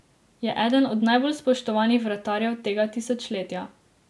Je eden od najbolj spoštovanih vratarjev tega tisočletja.